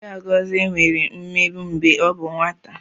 Chiagozie nwere mmegbu mgbe ọ bụ nwata.